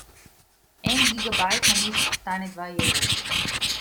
En gigabajt na mesec stane dva evra.